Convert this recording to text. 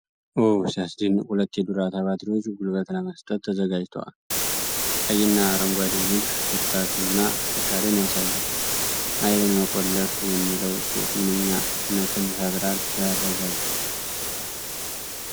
ኦ ሲያስደንቅ! ሁለት የዱራታ ባትሪዎች ጉልበት ለመስጠት ተዘጋጅተዋል። ቀይና አረንጓዴው ንድፍ ብርታትና ጥንካሬን ያሳያል። 'ኃይልን መቆለፍ' የሚለው ጽሑፍ ምንኛ እምነትን ይፈጥራል! ሲያረጋጋ!